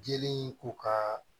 Jeli k'u ka